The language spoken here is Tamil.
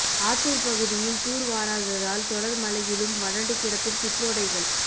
ஆத்தூர் பகுதியில் தூர் வாராததால் தொடர் மழையிலும் வறண்டு கிடக்கும் சிற்றோடைகள்